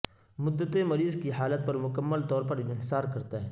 مدت مریض کی حالت پر مکمل طور پر انحصار کرتا ہے